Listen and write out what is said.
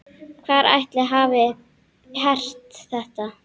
Hver ætli hafi hert þetta?